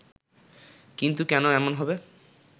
কিন্তু কেন এমন হবে